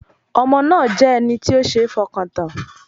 Ọmọ náà jẹ́ ẹni tí ó ṣeé fọkàn tán